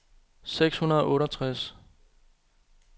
seks hundrede og otteogtres